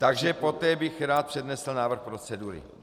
Takže poté bych rád přednesl návrh procedury.